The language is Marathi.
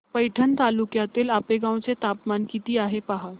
पैठण तालुक्यातील आपेगाव चं तापमान किती आहे पहा